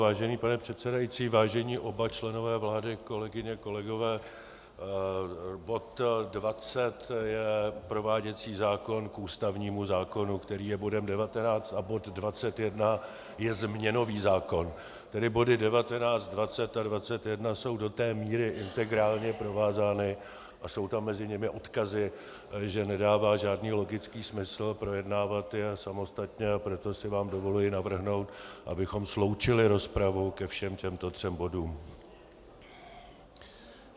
Vážený pane předsedající, vážení oba členové vlády, kolegyně, kolegové, bod 20 je prováděcí zákon k ústavnímu zákonu, který je bodem 19, a bod 21 je změnový zákon, tedy body 19, 20 a 21 jsou do té míry integrálně provázány a jsou tam mezi nimi odkazy, že nedává žádný logický smysl projednávat je samostatně, a proto si vám dovoluji navrhnout, abychom sloučili rozpravu ke všem těmto třem bodům.